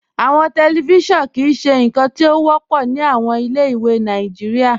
Awọn tẹlifíṣọ̀nù kìí ṣe nkan ti o wọpọ ni awọn ilẹ̀-ìwé Nàìjíríà.